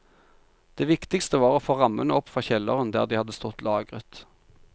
Det viktigste var å få rammene opp fra kjelleren der de hadde stått lagret.